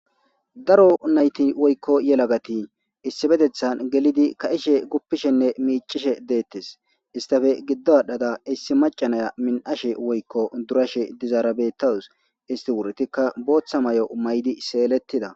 Daro mayti woyko yelagati gelidi issipetetha ka'ishe gupisjenne micishe deetes istappe gido aadhada issi maca Naya min'ashe woyko durashe dizara beetaws. Isti wuritika bootha mayo mayidi seeleyida.